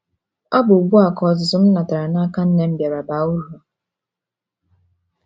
Ọ bụ ugbu a ka ọzụzụ m natara n’aka nne m bịara baa uru.